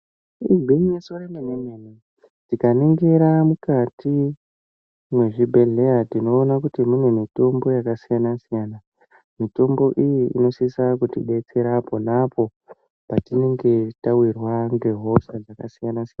Igwinyiso remene-mene, tikaningira mukati mwezvibhedhlera, tinoona kuti mune mitombo yakasiyana-siyana. Mitombo iyi inosise kutidetsera pona apo petinenge tauyirwa ngehosha dzakasiyana-siyana.